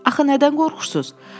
Axı nədən qorxursuz?